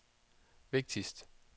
vigtigste